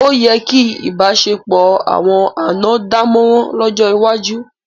Ó yẹ kí ìbáṣepọ̀ àwọn àná dámọ̀ràn lọ́jọ́ iwájú.